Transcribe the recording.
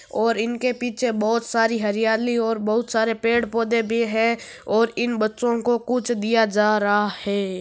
और इनके पीछे बहुत सारी हरियाली और बहुत सारे पेड़ पोधे है या इन बच्चो में कुछ दिया जा रहा है।